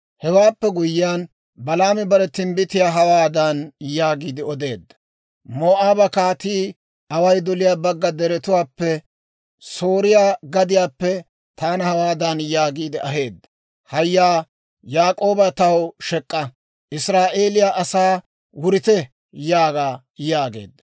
Hewaappe guyyiyaan, Balaami bare timbbitiyaa hawaadan yaagiide odeedda; «Moo'aaba kaatii Baalaak'i away doliyaa bagga deretuwaappe, Sooriyaa gadiyaappe taana hawaadan yaagiide aheedda; ‹Haaya; Yaak'ooba taw shek'k'a! Israa'eeliyaa asaa, «Wurite!» yaaga› yaageedda.